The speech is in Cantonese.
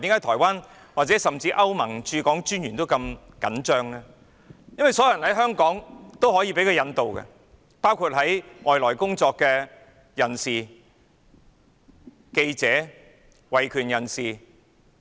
台灣甚至歐盟駐港專員都如此緊張，原因是所有在香港的人都可以被引渡，包括外來工作的人、記者或維權人士。